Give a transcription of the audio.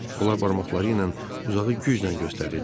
Onlar barmaqları ilə uzağı güclə göstərirdilər.